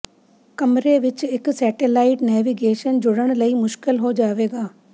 ਕਮਰੇ ਵਿੱਚ ਇੱਕ ਸੈਟੇਲਾਈਟ ਨੈਵੀਗੇਸ਼ਨ ਜੁੜਨ ਲਈ ਮੁਸ਼ਕਲ ਹੋ ਜਾਵੇਗਾ